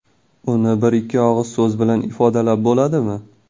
Uni bir-ikki og‘iz so‘z bilan ifodalab bo‘ladimi?